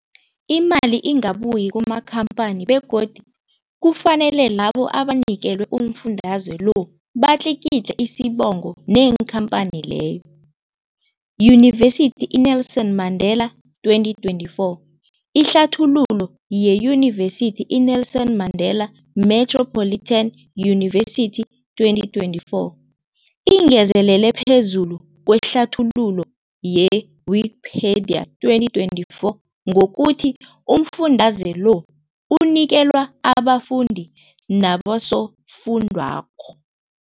Imali ingabuyi kumakhamphani begodu kufanele labo abanikelwa umfundaze lo batlikitliki isibopho neenkhamphani leyo, Yunivesity i-Nelson Mandela 2024. Ihlathululo yeYunivesithi i-Nelson Mandela Metropolitan University 2024, ingezelele phezu kwehlathululo ye-Wikipedia 2024, ngokuthi umfundaze lo unikelwa abafundi nabosofundwakgho.